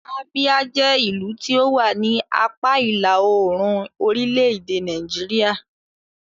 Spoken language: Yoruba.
Abia jẹ́ ìlú tí ó wà ní apá ìlà-oòrùn orílẹ̀-èdè Nàìjíríà.